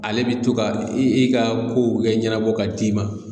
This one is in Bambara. Ale bi to ka i ka kow kɛ ɲɛnabɔ ka d'i ma